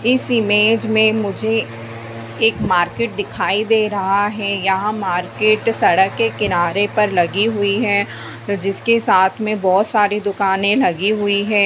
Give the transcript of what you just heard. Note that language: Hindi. इस इमेज में मुझे एक मार्केट दिखाई दे रहा है यहाँ मार्केट सड़क के किनारे पर लगी हुई है जिसके साथ में बहोत सारी दुकानें लगी हुई हैं।